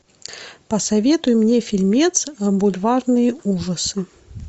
посоветуй мне фильмец бульварные ужасы